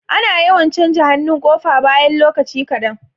Ana yawan canja hannun kofa bayan lokaci kadan